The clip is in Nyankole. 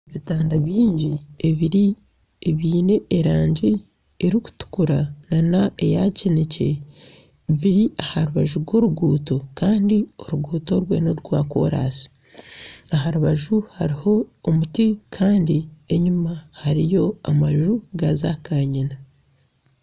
Ebitanda bingi ebiine erangi erikutukura nana eya kinekye biri aha rubaju rw'oruguuto kandi oruguuto orwe norwa kooransi, aha rubaju hariho omuti kandi enyuma hariyo amanju ga kanyina.